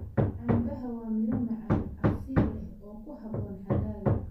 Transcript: Canbaha waa miro macaan, casiir leh oo ku habboon xagaaga.